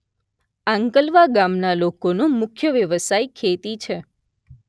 આંકલવા ગામના લોકોનો મુખ્ય વ્યવસાય ખેતી છે